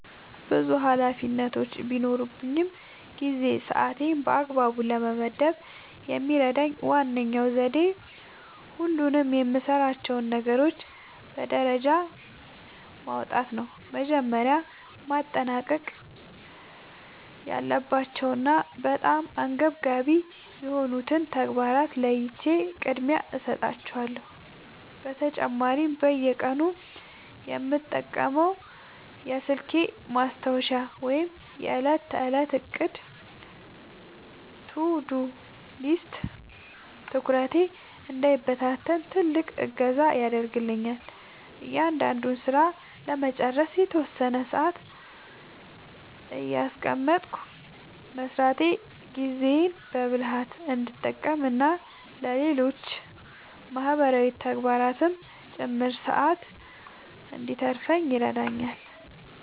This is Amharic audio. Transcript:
ብዙ ኃላፊነቶች በሚኖሩኝ ጊዜ ሰዓቴን በአግባቡ ለመመደብ የሚረዳኝ ዋነኛው ዘዴ ሁሉንም የምሠራቸውን ነገሮች በደረጃ ማውጣት ነው። መጀመሪያ ማጠናቀቅ ያለባቸውንና በጣም አንገብጋቢ የሆኑትን ተግባራት ለይቼ ቅድሚያ እሰጣቸዋለሁ። በተጨማሪም በየቀኑ የምጠቀመው የስልኬ ማስታወሻ ወይም የዕለት ተዕለት ዕቅድ (To-Do List) ትኩረቴ እንዳይበታተን ትልቅ እገዛ ያደርግልኛል። እያንዳንዱን ሥራ ለመጨረስ የተወሰነ ሰዓት እያስቀመጥኩ መሥራቴ ጊዜዬን በብልሃት እንድጠቀምና ለሌሎች ማህበራዊ ተግባራትም ጭምር ሰዓት እንድተርፈኝ ይረዳኛል።